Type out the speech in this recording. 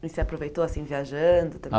E você aproveitou, assim, viajando também?